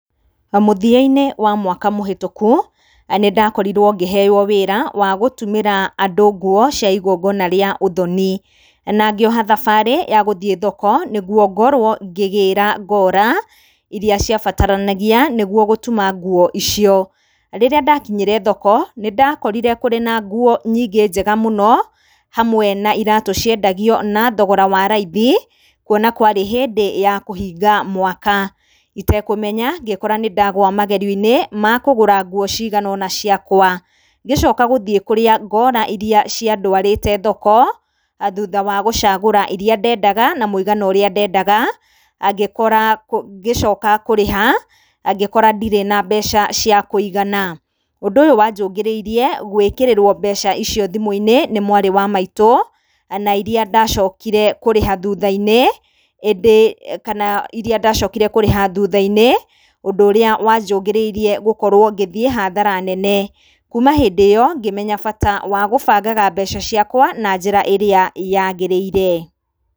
Mũthia-inĩ wa mwaka mũhetũku nĩndakorirwo ngĩheo wĩra wa gũtumĩra andũ nguo cia igongona rĩa ũthoni na ngĩoha thabarĩ ya gũthiĩ thoko nĩguo ngorwo ngĩgĩra ngora iria ciabataranagia nĩguo gũtuma nguo icio. Rĩrĩa ndakinyire thoko, nĩndakorire kũrĩ na nguo nyingĩ njega mũno hamwe na iratũ ciendagio na thogora wa raithi kuona kwarĩ hĩndĩ ya kũhinga mwaka. Itekũmenya ngĩkora nĩ ndagũa magerio-inĩ ma kũgũra nguo cigana ũna ciakwa. Ngĩcoka gũthiĩ kũrĩa ngora iria ciandwarĩte thoko, thutha wa gũcagũra iria ndendaga na mũigana ũrĩa ndendaga ngĩkora, ngĩcoka kũrĩha ngĩkora ndirĩ na mbeca cia kũigana. Ũndũ ũyũ wa njũngĩrĩirie gwĩkĩrĩrwo mbeca icio thimũ-iinĩ nĩ mwarĩ wa maitũ na iria ndacokire kũrĩha thutha-inĩ, ĩndĩ, kana iria ndocokire kũrĩha thutha-inĩ, ũndũ ũrĩa wanjũngĩrĩirie gũkorwo ngĩthiĩ hathara nene. Kuma hĩndĩ ĩo ngĩmenya bata wa gũbangaga mbeca ciakwa na njĩra ĩrĩa yagĩrĩire.